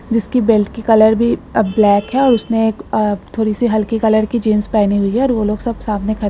जिसकी बेल्ट की कलर भी ब्लैक है और उसने एक अ थोड़ी सी हल्के कलर की जींस पहनी हुई है और वो लोग सब सामने ख --